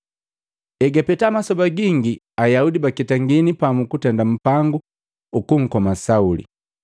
Egapeta masoba gingi, Ayaudi baketangini pamu kutenda mpangu ukunkoma Sauli.